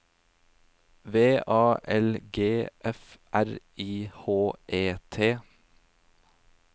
V A L G F R I H E T